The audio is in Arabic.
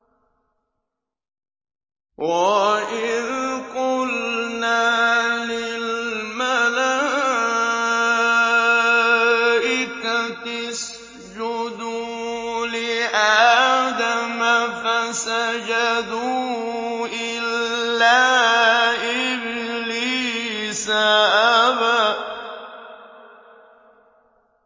وَإِذْ قُلْنَا لِلْمَلَائِكَةِ اسْجُدُوا لِآدَمَ فَسَجَدُوا إِلَّا إِبْلِيسَ أَبَىٰ